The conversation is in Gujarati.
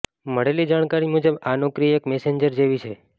મળેલી જાણકારી મુજબ આ નોકરી એક મેસેન્જર જેવી છે